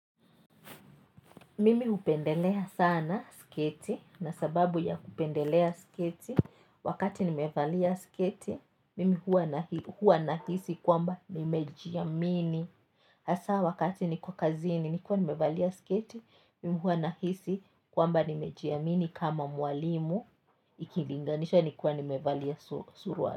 Mimi hupendelea sana sketi na sababu ya kupendelea sketi wakati nimevalia sketo mimi huwa nahisi kwamba nimejiamini hasa wakati niko kazini nikiwa nimevalia sketi mimi huwa nahisi kwamba nimejiamini kama mwalimu ikilinganisha nikiwa nimevalia suruali.